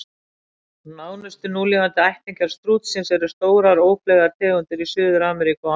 Nánustu núlifandi ættingjar stútsins eru stórar, ófleygar tegundir í Suður-Ameríku og Ástralíu.